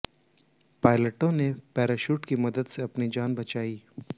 पायलटों ने पैराशूट की मदद से अपनी जान बचाई